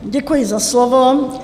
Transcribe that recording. Děkuji za slovo.